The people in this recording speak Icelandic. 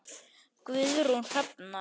Guðrún Hrefna.